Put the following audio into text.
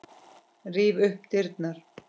Ríf upp dyrnar.